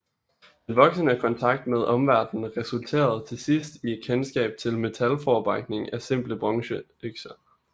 Den voksende kontakt med omverdenen resulterede til sidst i kendskab til metalforarbejdning af simple bronzeøkser